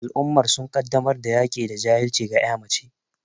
Al'ummar sun kaddamar da yaki da jahilci ga ƴa mace